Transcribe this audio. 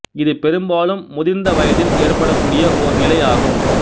இது பெரும்பாலும் முதிர்ந்த வயதில் ஏற்படக்கூடிய ஓர் நிலை ஆகும்